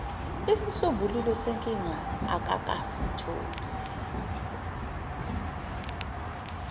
isisombululo senkinga akakasitholi